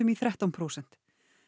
í þrettán prósent